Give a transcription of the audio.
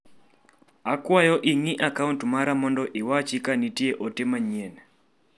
Akwayo ing'i a kaunt mara mondo iwachi ka nitie ote manyien.